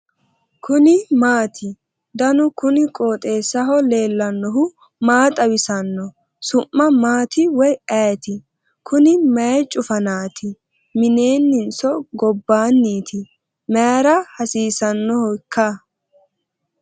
kuni maati ? danu kuni qooxeessaho leellannohu maa xawisanno su'mu maati woy ayeti ? kuni mayi cufanaati mineetinso gobbaati ? mayra hasiisannohoikka ?